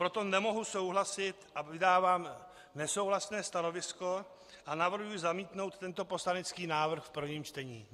Proto nemohu souhlasit a vydávám nesouhlasné stanovisko a navrhuji zamítnout tento poslanecký návrh v prvním čtení.